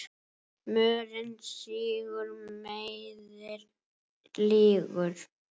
Mörinn sýgur, meiðir, lýgur.